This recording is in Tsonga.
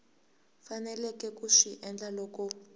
faneleke ku swi endla loko